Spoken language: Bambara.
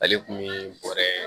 Ale kun bi bɔrɛ